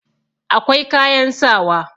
akwai kayan sawa